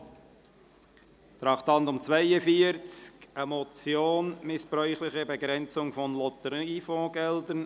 Bei Traktandum 42 geht es um die Motion «Missbräuchliche Begrenzung von Lotteriefondsgeldern».